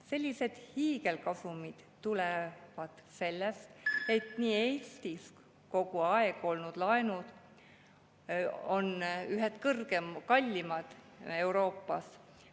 Sellised hiigelkasumid tulevad sellest, et Eestis on olnud laenud kogu aeg ühed kallimad Euroopas.